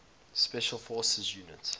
special forces units